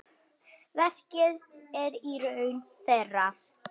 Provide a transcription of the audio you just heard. Verkið er í raun þeirra.